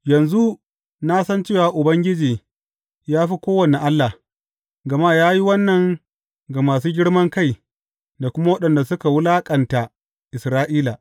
Yanzu na san cewa Ubangiji ya fi kowane allah, gama ya yi wannan ga masu girman kai da kuma waɗanda suka wulaƙanta Isra’ila.